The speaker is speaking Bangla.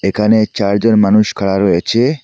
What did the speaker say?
এখানে চারজন মানুষ খাঁড়া রয়েচে।